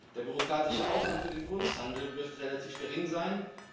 Der bürokratische Aufwand für den Kunsthandel wird relativ gering sein.